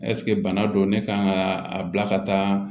Ɛseke bana don ne kan ka a bila ka taa